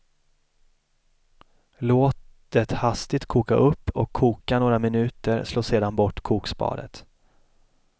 Låt det hastigt koka upp och koka några minuter, slå sedan bort kokspadet.